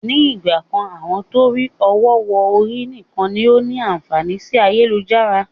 Ni ìgbàkan àwọn torí ọwọ họ̀ ọ̀rí nìkan ni ó ní àǹfààní sì ayélujára.